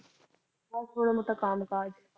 ਬਸ ਥੋੜਾ ਮੋਟਾ ਕਾਮ ਕਾਜ